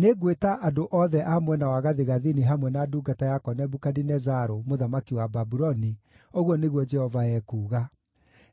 nĩngwĩta andũ othe a mwena wa gathigathini hamwe na ndungata yakwa Nebukadinezaru, mũthamaki wa Babuloni,” ũguo nĩguo Jehova ekuuga.